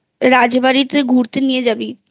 রাজবাড়িতে ঘুরতে নিয়ে যাবি